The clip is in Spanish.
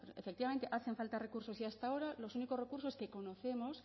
efectivamente hacen falta recursos y hasta ahora los únicos recursos que conocemos